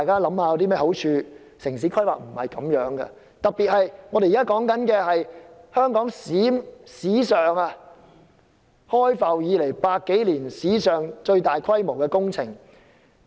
城市規劃不是這樣，特別是這是香港開埠百多年來最大規模的工程。